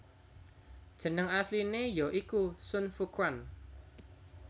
Jeneng asline ya iku Sun Fuquan